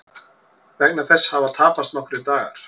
Vegna þess hafa tapast nokkrir dagar